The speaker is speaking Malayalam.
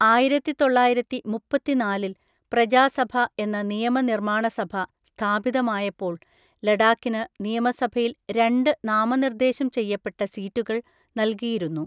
ആയിരത്തിതൊള്ളായിരത്തിമുപ്പത്തിനാലിൽ പ്രജാസഭ എന്ന നിയമനിർമ്മാണസഭ സ്ഥാപിതമായപ്പോൾ ലഡാക്കിന് നിയമസഭയിൽ രണ്ട് നാമനിർദ്ദേശം ചെയ്യപ്പെട്ട സീറ്റുകൾ നൽകിയിരുന്നു.